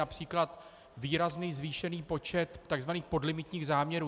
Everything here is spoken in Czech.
Například výrazný zvýšený počet tzv. podlimitních záměrů.